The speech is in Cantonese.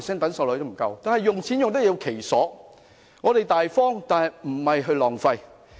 但是，錢要用得其所，我們要大方，但亦不能浪費。